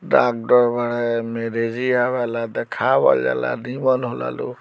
Doctor बाड़े एमे जे आवेला देखावल जाला निमन होला लोग।